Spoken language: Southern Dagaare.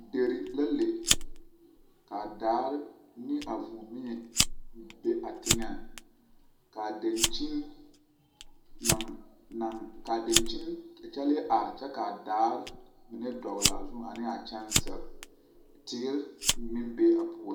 Dire la le ka a daare ne vūū mie be a teŋɛɛ ka a dankyini naŋ naŋ kaa a dankyini kyɛlee arɛ kyɛ ka a daare mine dɔɔle a zu ane a kyɛŋsirii teere meŋ be a puoriŋ.